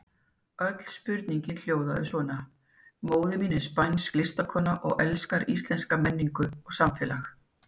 Öll spurningin hljóðaði svona: Móðir mín er spænsk listakona og elskar íslenska menningu og samfélag.